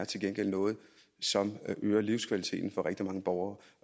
til gengæld noget som øger livskvaliteten for rigtig mange borgere